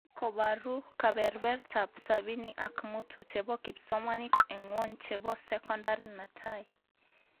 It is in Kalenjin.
Ni kobaru kebebertaab sabini ak mutu chebo kipsomanink eng ngwony chebo sokondar netai?